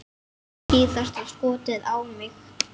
Síðasta skotið á mig.